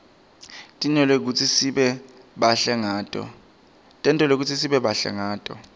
tentelwe kutsi sibe bahle ngato